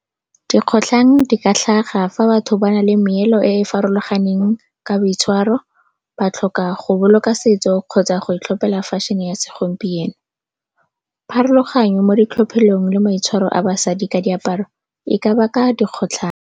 Dikgotlhang di ka tlhaga fa batho ba na le meelo e e farologaneng ka boitshwaro, ba tlhoka go boloka setso kgotsa go itlhophela fashion-e ya segompieno. Pharologanyo mo ditlhophelong le maitshwaro a basadi ka diaparo e ka baka dikgotlhang.